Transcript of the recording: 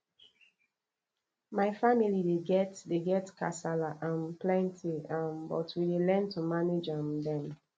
my family dey get dey get kasala um plenty um but we dey learn to manage um dem